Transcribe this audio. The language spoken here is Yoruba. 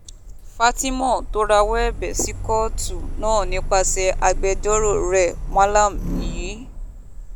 fatima tó rawọ́ ẹ̀bẹ̀ sí kóòtù náà nípasẹ̀ agbẹjọ́rò rẹ̀ malam y